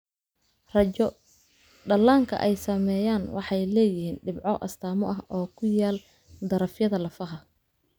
Raajo, dhallaanka ay saameeyeen waxay leeyihiin dhibco astaamo ah oo ku yaal darafyada lafaha.